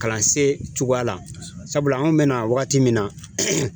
Kalansen cogoya la , sabula an bɛ na wagati min na